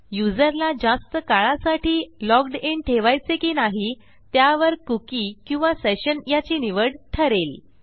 युजरला जास्त काळासाठी लॉग्ड इन ठेवायचे की नाही त्यावर कुकी किंवा सेशन याची निवड ठरेल